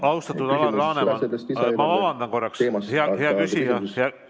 Austatud Alar Laneman, ma vabandan korraks!